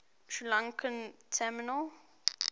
sri lankan tamil